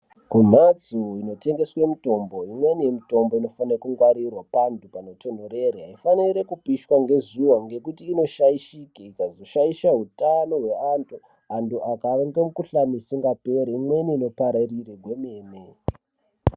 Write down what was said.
Kumhatso inotengeswe mitombo imweni mitombo inofane kungwarirwa pandu panotonhorere aifaniri kuoiswa ngezuva ngekutu inoshaishike ikazoshaishe utano wevantu antu akave ngemikhuhlani usingaperi, imweni inopararire gwemene.